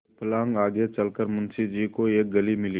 एक फर्लांग आगे चल कर मुंशी जी को एक गली मिली